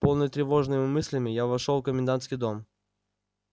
полный тревожными мыслями я вошёл в комендантский дом